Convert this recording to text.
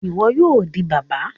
Iwọ yoo di baba!